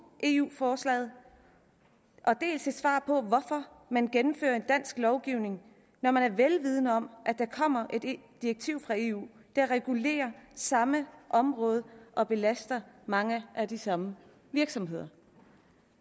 eu forslaget dels et svar på hvorfor man gennemfører en dansk lovgivning når man er vel vidende om at der kommer et direktiv fra eu der regulerer det samme område og belaster mange af de samme virksomheder